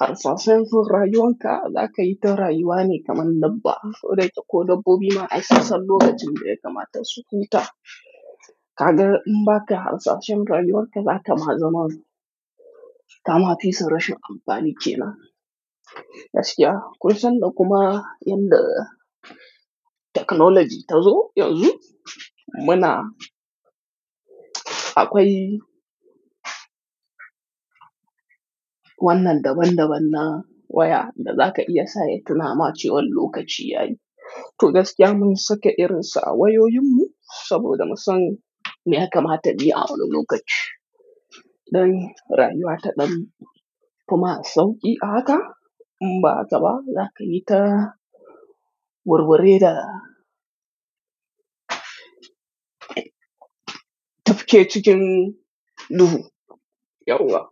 harsashen rayuwan ka, za ka yi ta rayuwa ne kamar dabba. Wai dai ko dabbobi ma ai sassan lokacin da ya kamata su huta. Kaga in ba ka harsashen rayuwan ka, za ka ma zama kama fi su rashin amfanin ke nan. Gaskiya. Kusan da kuma inda technology ta zo yanzu, muna akwai wannan daban-daban na waya da za ka iya sa ya tuna ma ce wa lokaci yayi. To gaskiya mun sake irin sa wayoyinmu saboda musam me ya kamata ni a wani lokaci. Dan rayuwa ta ɗan kuma sauƙi a haka in ba zaba za ka yi ta wurwure da tafke cikin duhu. Yauwa.